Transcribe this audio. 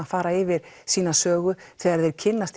að fara yfir sína sögu þegar þeir kynnast